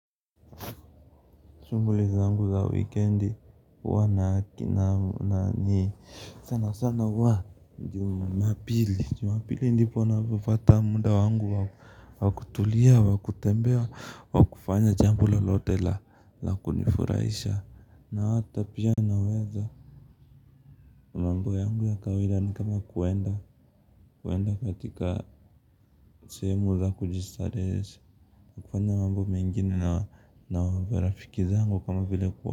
Shuguli zangu za wikendi huwa ni sana sana huwa Jumapili. Jumapili ndipo napopata muda wangu wakutulia wakutembea wakufanya jambo lolote la kunifurahisha na ata pia naweza mambo yangu ya kawaida ni kama kuenda katika sehemu za kujistarehesha kufanya mambo mengine na marafiki zangu kama vile kwa.